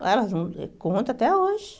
Ah elas vão... Conto até hoje.